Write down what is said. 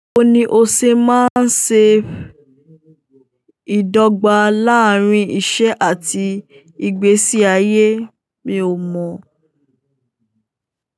Báwo ni o ṣe máa ń ṣe ìdọ́gba láàárín iṣẹ́ àti ìgbésí ayé? Mi ò mọ̀